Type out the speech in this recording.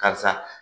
Karisa